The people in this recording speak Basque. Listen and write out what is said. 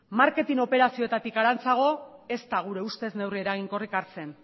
marketing operazioetatik harantzago ez da gure ustez neurri eraginkorrik hartzen